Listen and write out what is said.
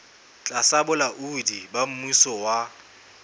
tlasa bolaodi ba mmuso wa